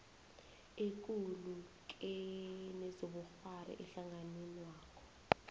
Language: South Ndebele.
ekulu kezobukghwari ehlanganwenakho